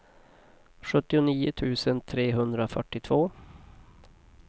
sjuttionio tusen trehundrafyrtiotvå